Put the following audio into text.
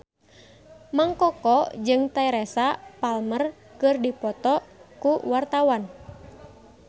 Mang Koko jeung Teresa Palmer keur dipoto ku wartawan